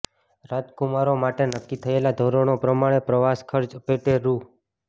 રાજકુમારો માટે નક્કી થયેલાં ધોરણો પ્રમાણે પ્રવાસખર્ચ પેટે રૂ